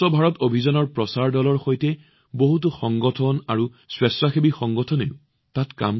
স্বচ্ছ ভাৰতৰ প্ৰচাৰ দলৰ সৈতে তাত কেইবাটাও সংগঠন আৰু স্বেচ্ছাসেৱী সংগঠনেও কাম কৰি আছে